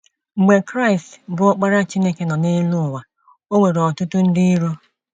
Mgbe Kraịst, bụ́ Ọkpara Chineke nọ n’elu ala, o nwere ọtụtụ ndị iro.